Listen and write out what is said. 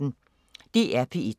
DR P1